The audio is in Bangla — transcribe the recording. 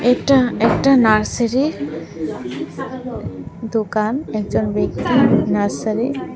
এটা একটা নার্সারি র দোকান একজন ব্যক্তি নার্সারি --